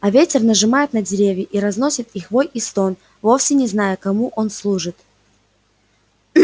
а ветер нажимает на деревья и разносит их вой и стон вовсе не зная кому он служит